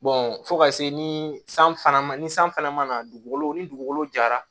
fo ka se ni san fana ma ni san fana ma na dugukolo ni dugukolo jara